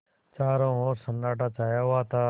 चारों ओर सन्नाटा छाया हुआ था